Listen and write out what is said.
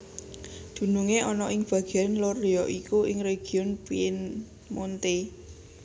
Dunungé ana ing bagéan lor ya iku ing region Piemonte